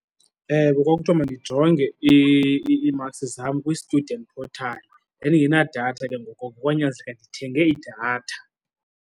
Ewe, kwakuthiwa mandijonge ii-marks zam kwi-student portal. Ndandingenadatha ke ngoko, kwanyanzeleka ndithenge idatha.